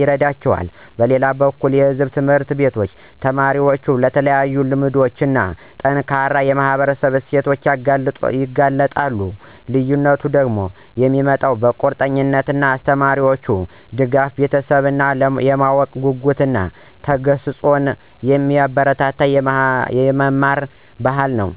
ይረዳቸዋል. በሌላ በኩል የሕዝብ ትምህርት ቤቶች ተማሪዎችን ለተለያዩ ልምዶች እና ጠንካራ የማህበረሰብ እሴቶች ያጋልጣሉ። ልዩነቱን የሚያመጣው ቁርጠኛ አስተማሪዎች፣ ደጋፊ ቤተሰቦች እና የማወቅ ጉጉትን እና ተግሣጽን የሚያበረታታ የመማር ባህል ነው።